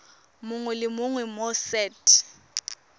mongwe le mongwe mo set